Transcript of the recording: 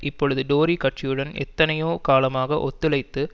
இப்பொழுது டோரி கட்சியுடன் எத்தனையோ காலமாக ஒத்துழைத்து